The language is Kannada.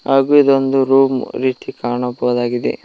ಹಾಗು ಇದೋಂದು ರೂಮ್ ರೀತಿ ಕಾಣಬಹುದಾಗಿದೆ.